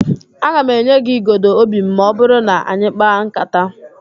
Aga m enye gị igodo óbì m ma ọ bụrụ na anyị kpaa ńkátá